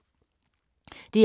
DR K